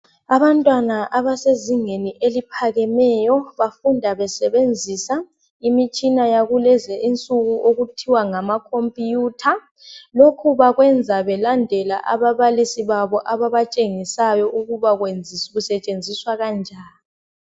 Abantwana abasezingeni eliphakemeyo bafunda besebenzisa imitshina yakulezinsuku okuthiwa ngamakhompiyutha. Lokhu bakwenza belandela ababalisi babo ababatshengisayo ukuba kusetshenziswa kanjani.